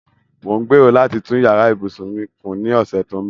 Mò ń gbèrò láti tún yàrá ìbùsùn mi kùn ní ọ̀sẹ̀ tó ń bọ̀.